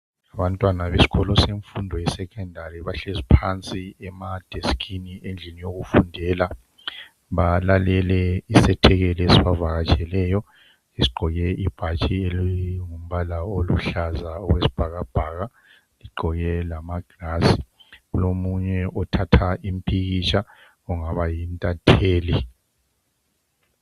Abantwana besikolo semfundo yesecondary bahlezi phansi emadesikhini endlini yokufundela balalele isethekeli esibavakatsheleyo esigqoke ibhatshi elingumbala oluhlaza okwesibhakabhaka egqoke lamagilazi. Kulomunye othatha impikitsha ongaba yintatheli.